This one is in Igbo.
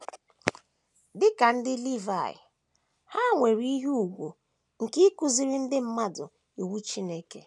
Dị ka ndị Livaị, ha nwere ihe ùgwù nke ịkụziri ndị mmadụ Iwu Chineke.